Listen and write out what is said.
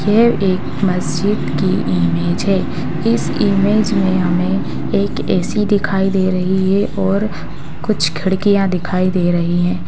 यह एक मस्जिद की इमेज है इस इमेज में हमें एक ए.सी. दिखाई दे रही है और कुछ खिड़कियााँ दिखाई दे रही है।